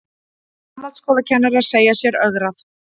Framhaldsskólakennarar segja sér ögrað